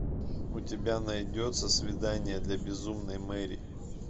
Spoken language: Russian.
у тебя найдется свидание для безумной мэри